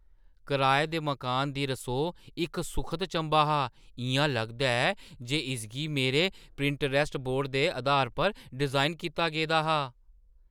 कराए दे मकानै दी रसोऽ इक सुखद चंभा हा- इ'यां लगदा ऐ जे इसगी मेरे पिंटरैस्ट बोर्ड दे अधार पर डिजाइन कीता गेदा हा! "